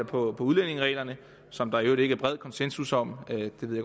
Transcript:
på udlændingereglerne som der i øvrigt ikke er bred konsensus om det ved